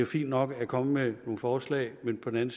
fint nok at komme med nogle forslag men på den